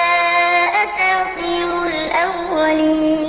أَنْ أُخْرَجَ وَقَدْ خَلَتِ الْقُرُونُ مِن قَبْلِي وَهُمَا يَسْتَغِيثَانِ اللَّهَ وَيْلَكَ آمِنْ إِنَّ وَعْدَ اللَّهِ حَقٌّ فَيَقُولُ مَا هَٰذَا إِلَّا أَسَاطِيرُ الْأَوَّلِينَ